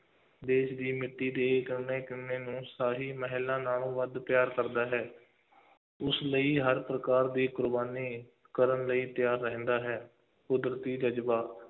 ਦੇਸ਼ ਦੀ ਮਿੱਟੀ ਦੀ ਕਣ-ਕਣ ਨੂੰ ਸਾਰੀ ਮਹਿਲਾਂ ਨਾਲੋਂ ਵੱਧ ਪਿਆਰ ਕਰਦਾ ਹੈ ਉਸ ਲਈ ਹਰ ਪ੍ਰਕਾਰ ਦੀ ਕੁਰਬਾਨੀ ਕਰਨ ਲਈ ਤਿਆਰ ਰਹਿੰਦਾ ਹੈ, ਕੁਦਰਤੀ ਜ਼ਜ਼ਬਾ,